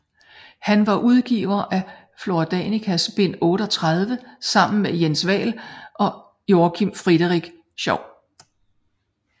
Han var udgiver af Flora Danicas bind 38 sammen med Jens Vahl og Joakim Frederik Schouw